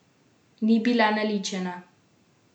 Ni bila naličena!